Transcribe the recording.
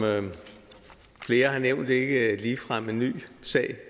flere har nævnt ikke ligefrem en ny sag